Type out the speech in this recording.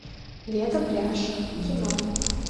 лето пляж кино